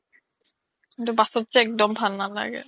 কিন্তু bus ত যে অক্দম ভাল নালাগে